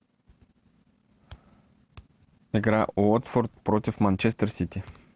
игра уотфорд против манчестер сити